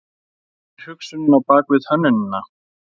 Hver er hugsunin á bakvið hönnunina?